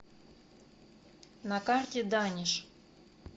на карте даниш